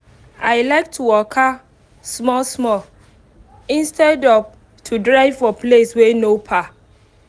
i like to waka small small instead of to drive for place wey no far